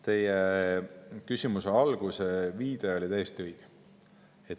Teie küsimuse alguse viide oli täiesti õige.